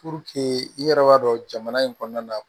i yɛrɛ b'a dɔn jamana in kɔnɔna na